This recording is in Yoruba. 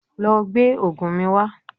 Lọ gbé oògùn mi wá